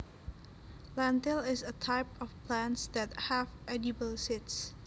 Lentil is a type of plants that have edible seeds